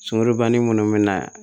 Sumani minnu bɛ na